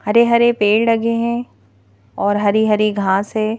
हरे-हरे पेड़ लगे हैं और हरी-हरी घास है।